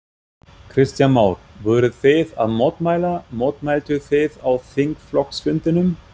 Kristján Már: Voruð þið að mótmæla, mótmæltuð þið á þingflokksfundinum?